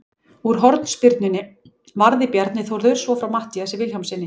Úr hornspyrnunni varði Bjarni Þórður svo frá Matthíasi Vilhjálmssyni.